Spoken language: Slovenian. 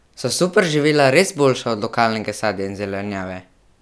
So superživila res boljša od lokalnega sadja in zelenjave?